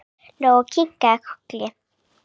Lóa kinkaði kolli.